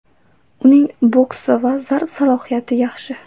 Uning boksi va zarba salohiyati yaxshi.